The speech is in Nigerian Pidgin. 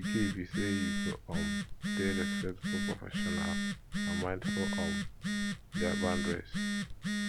di key be say you go um dey respectful professional and mindful of um dia boundaries